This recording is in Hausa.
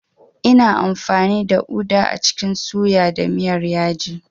Ina amfani da uda a cikin suya da miyar yaji.